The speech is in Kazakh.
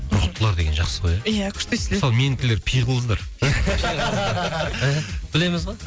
рухтылар деген жақсы ғой иә күшті естіледі мысалы менікілер пиғылыздар і білеміз ғой